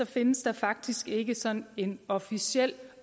findes der faktisk ikke sådan en officiel